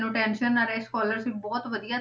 Tension ਨਾ ਰਹੇ scholarship ਬਹੁਤ ਵਧੀਆ